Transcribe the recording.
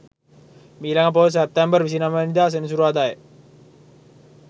මීළඟ පෝය සැප්තැම්බර් 29 වැනි දා සෙනසුරාදා ය.